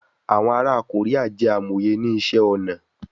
Awọn ara Korea jẹ amoye ni iṣẹ-ọnà